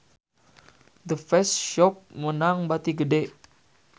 The Face Shop meunang bati gede